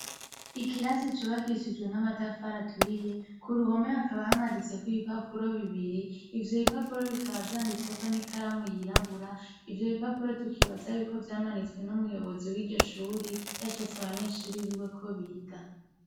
Ikirasi cubakishijwe n'amatafari aturiye, ku ruhome hakaba hamaditseko ibipapuro bibiri , ivyo bipapuro bikaba vyanditseko n'ikaramu yirabura, ivyo bipapuro tukibaza yuko vyamanitswe n'umuyobozi w'iryo shure, yashatse abanyeshure biwe ko biga.